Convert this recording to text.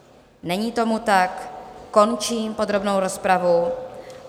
Není tomu tak, končím podrobnou rozpravu.